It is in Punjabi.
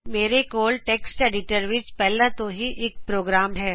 ਮੇਰੇ ਕੋਲ ਟੈਕਸਟ ਐਡੀਟਰ ਵਿੱਚ ਪਹਿਲਾ ਤੋਂ ਹੀ ਇਕ ਪ੍ਰੋਗਰਾਮ ਹੈ